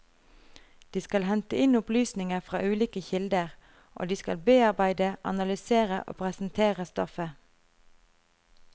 De skal hente inn opplysninger fra ulike kilder, og de skal bearbeide, analysere og presentere stoffet.